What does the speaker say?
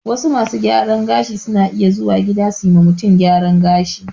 Wasu masu gyaran gashin suna iya zuwa gida su ma mutum gyaran gashi